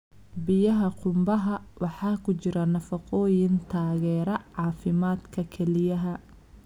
Biyaha qumbaha waxaa ku jira nafaqooyin taageera caafimaadka kelyaha.